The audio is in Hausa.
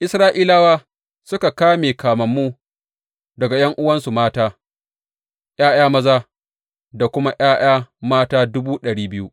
Isra’ilawa suka kame kamammu daga ’yan’uwansu mata, ’ya’ya maza da kuma ’ya’ya mata dubu ɗari biyu.